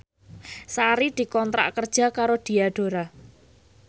Sari dikontrak kerja karo Diadora